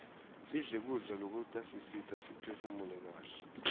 sidle kudla lokutasisita siphefunule kaihle